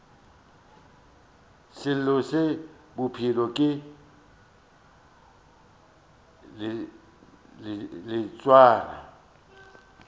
selo se bophelo ke leotwana